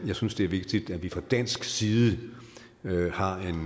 jeg synes det er vigtigt at vi fra dansk side har en